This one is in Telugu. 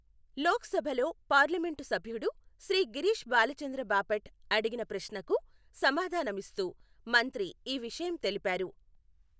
లోక్సభలో పార్లమెంటు సభ్యుడు శ్రీ గిరీష్ బాలచంద్ర బాపట్ అడిగిన ప్రశ్నకు సమాధానమిస్తూ మంత్రి ఈ విషయం తెలిపారు.